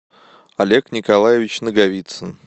олег николаевич наговицын